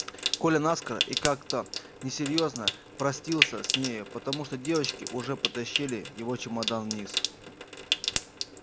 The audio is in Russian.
коля наскоро и как то несерьёзно простился с нею потому что девочки уже потащили его чемодан вниз